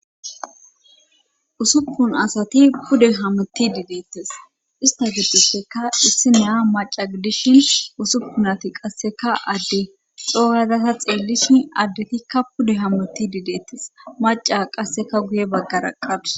usuppun asati pude hammuti dideettes ista gibdisheka issi nea maca dishin usuppun ati qasseka adde xooyazasa xeellishi addetikka pude hammuti didettes maca qasseka guye baggara qabus